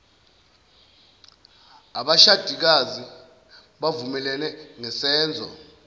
abashadikazi bavumelene ngesenzo